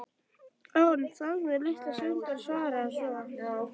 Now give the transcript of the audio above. Jón þagði litla stund en svaraði svo